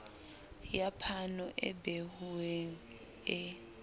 ya phano e behuweng e